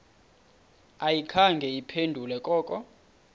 ayikhange iphendule koko